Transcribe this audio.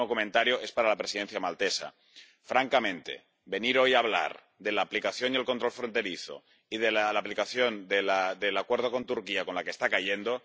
Y mi último comentario es para la Presidencia maltesa. Francamente venir hoy hablar de la aplicación y el control fronterizo y de la aplicación del Acuerdo con Turquía, con la que está cayendo.